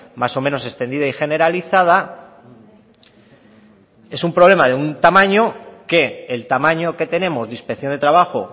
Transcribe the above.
más o menos extendida y generalizada es un problema de un tamaño que el tamaño que tenemos de inspección de trabajo